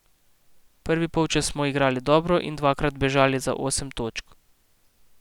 Prvi polčas smo igrali dobro in dvakrat bežali za osem točk.